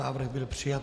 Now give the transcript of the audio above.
Návrh byl přijat.